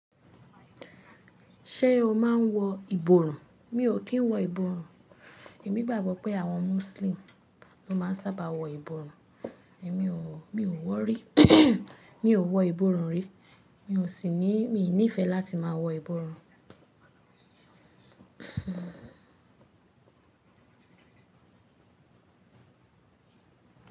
Ṣé o máa n wọ ìborùn? Mi ò kí n wọ ìborùn. Èmi gbàgbọ́ pé àwọn Muslim ló máa ń sábà wọ ìborùn, èmi ò wọ rí. Mi ò wọ ìborùn rí, mi ò sì ní, mi ò ní ìfẹ́ láti máa wọ ìborùn.